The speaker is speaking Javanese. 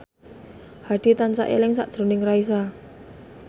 Hadi tansah eling sakjroning Raisa